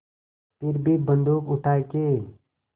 फिर भी बन्दूक उठाके